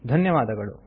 ಧನ್ಯವಾದಗಳು